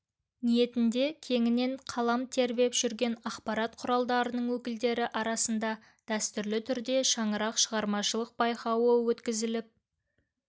ниетінде кеңінен қалам тербеп жүрген ақпарат құралдарының өкілдері арасында дәстүрлі түрде шаңырақ шығармашылық байқауы өткізіліп